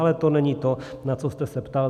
Ale to není to, na co jste se ptal.